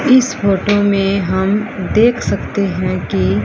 इस फोटो में हम देख सकते हैं कि--